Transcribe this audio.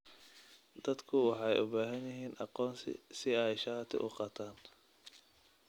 Dadku waxay u baahan yihiin aqoonsi si ay shati u qaataan.